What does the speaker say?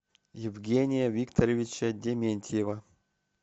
евгения викторовича дементьева